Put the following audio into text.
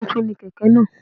Tuntun ni kèké náà